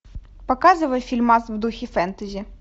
показывай фильмас в духе фэнтези